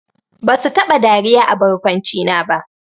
Basu taba dariya a barkwancina ba!